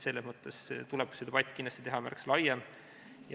Selles mõttes tuleb see debatt kindlasti teha märksa laiem.